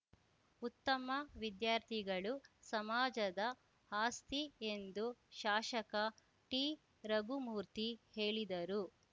ಉತ್ತಮ ವಿದ್ಯಾರ್ಥಿಗಳು ಸಮಾಜದ ಆಸ್ತಿ ಎಂದು ಶಾಷಕ ಟಿರಘುಮೂರ್ತಿ ಹೇಳಿದರು